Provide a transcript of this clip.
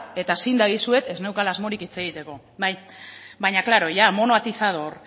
eta zin dagizuet ez neukala asmorik hitz egiteko baina klaro ya mono atizador